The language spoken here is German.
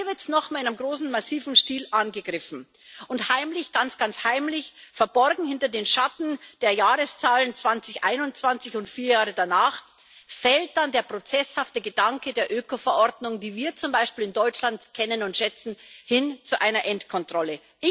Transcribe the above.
Aber hier wird es nochmal in einem großen, massiven Stil angegriffen und heimlich, ganz ganz heimlich, verborgen hinter den Schatten der Jahreszahlen 2021 und vier Jahre danach, fällt dann der prozesshafte Gedanke der Ökoverordnung, die wir zum Beispiel in Deutschland kennen und schätzen, hin zu einer Endkontrolle.